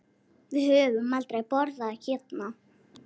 Við höfum aldrei borðað hérna.